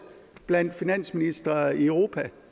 blandt finansministre i europa